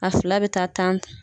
A fila bɛ taa tan ta.